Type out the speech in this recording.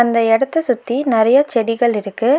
இந்த எடத்த சுத்தி நெறையா செடிகள் இருக்கு.